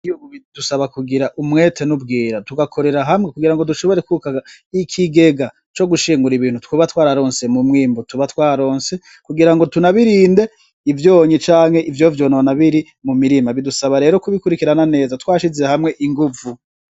Ivyubu bidusaba kugira umwete nkubwira tugakorera hamwe kugira ngo dushobore kubaka ikigega co gushingura ibintu twoba twararonse mu mwimbu tuba twaronse kugira ngo tunabirinde ivyonyi canke ivyo vyonona biri mumirima bidusaba rero kubikurikirana neza twashize hamwe inguvu.